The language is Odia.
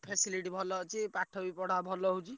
Facility ଭଲ ଅଛି ପାଠ ବି ପଢା ଭଲ ହଉଛି।